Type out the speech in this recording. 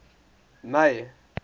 may